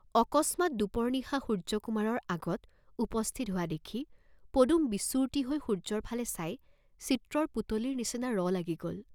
অকস্মাৎ দুপৰ নিশা সূৰ্য্যকুমাৰৰ আগত উপস্থিত হোৱা দেখি পদুম বিচূৰ্তি হৈ সূৰ্য্যৰ ফালে চাই চিত্ৰৰ পুতলীৰ নিচিনা ৰ লাগি গ'ল।